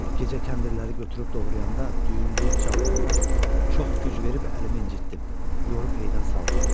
Gecə kəndirləri götürüb doğrayanda, düyün eləyib çalanda, çox güc verib əlimi incitdim, yorub heytdən saldım.